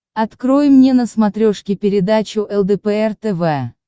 открой мне на смотрешке передачу лдпр тв